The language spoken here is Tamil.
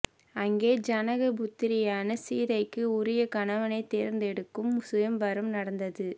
அங்கே ஜனக புத்திரியான சீதைக்கு உரிய கணவனைத் தேர்ந்தெடுக்கும் சுயம்வரம் நடந்தது